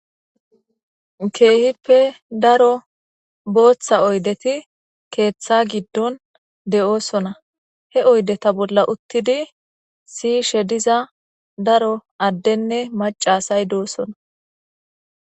Keehippe daro booththa oydeti keeththa giddon de'oosona he oydeta bolla uttidi siishe diza daro addenne macasay doosona.